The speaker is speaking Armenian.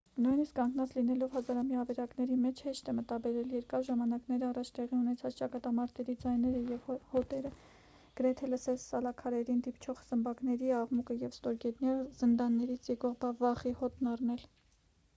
նույնիսկ կանգնած լինելով հազարամյա ավերակների մեջ հեշտ է մտաբերել երկար ժամանակներ առաջ տեղի ունեցած ճակատամարտերի ձայները և հոտերը գրեթե լսել սալաքարերին դիպչող սմբակների աղմուկը և ստորգետնյա զնդաններից եկող վախի հոտն առնել